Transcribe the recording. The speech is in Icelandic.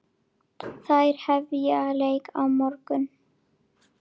Þær hefja leik á morgun.